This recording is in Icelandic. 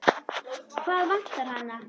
Hvað vantar hana?